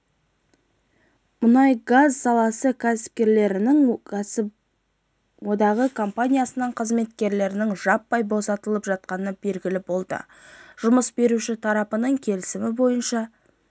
мұнай-газ саласы қызметкерлерінің кәсіподағы компаниясының қызметкерлерінің жаппай босатылып жатқаны белгілі болды жұмыс беруші тараптардың келісімі бойынша